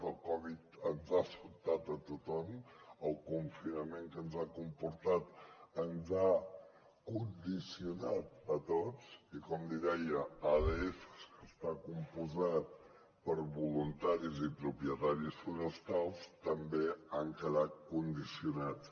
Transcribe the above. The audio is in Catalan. el covid ens ha sobtat a tothom el confinament que ens ha comportat ens ha condicionat a tots i com li deia adfs que està compost per voluntaris i propietaris forestals també han quedat condicionats